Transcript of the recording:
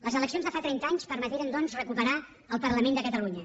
les eleccions de fa trenta anys permeteren doncs recuperar el parlament de catalunya